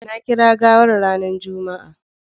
Na kira gawar ranar Juma'a.